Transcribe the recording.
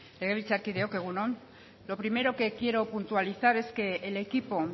legebiltzarkideok egun on lo primero que quiero puntualizar es que el equipo